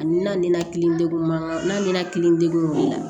A ni na ni na kilen mangan n degunna